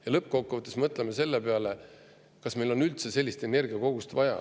Ja lõppkokkuvõttes mõtleme selle peale, kas meil on üldse sellist energiakogust vaja.